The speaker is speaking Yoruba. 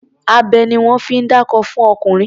Abẹ ni wọ́n fi ń dákó fún ọkùnrin.